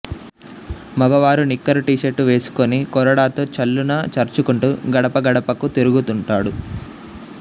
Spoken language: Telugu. మగవారు నిక్కరు టీషర్టు వేసు కుని కొరడాతో ఛళ్లున చరుచుకుంటూ గడపగడపకూ తిరుగుతుంటాడు